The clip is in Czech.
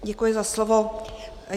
Děkuji za slovo.